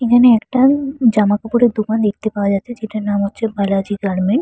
এখানে একটা জামা কাপড়ের দোকান দেখতে পাওয়া যাচ্ছে যেটার নাম হচ্ছে বালাজি গার্মেন্টস ।